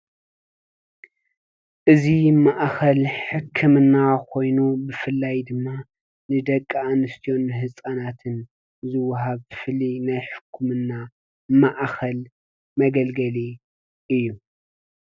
እዚ ማእከል ሕክምና ኮይኑ ብፍላይ ድማ ንደቂ ኣንስትዮ ን ንህፃናትን ዝወሃብ ፍሉይ ናይ ሕክምና ማዕከል መገልገሊ እዩ።